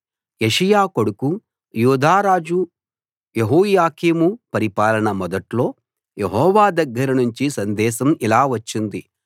యోషీయా కొడుకు యూదా రాజు యెహోయాకీము పరిపాలన మొదట్లో యెహోవా దగ్గర నుంచి సందేశం ఇలా వచ్చింది